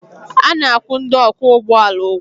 A na-akwụ ndị ọkwọ ụgbọala ụgwọ